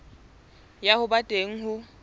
ya ho ba teng ho